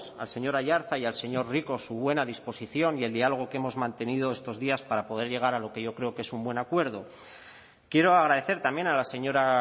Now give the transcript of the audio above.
al señor aiartza y al señor rico su buena disposición y el diálogo que hemos mantenido estos días para poder llegar a lo que yo creo que es un buen acuerdo quiero agradecer también a la señora